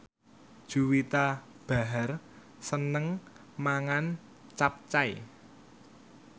Juwita Bahar seneng mangan capcay